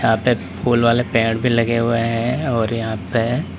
यहां पे फूल वाले पेड़ पर लगे हुए हैं और यहां पे--